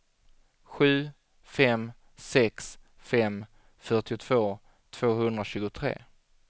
sju fem sex fem fyrtiotvå tvåhundratjugotre